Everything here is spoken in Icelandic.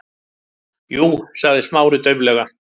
Jú- sagði Smári dauflega.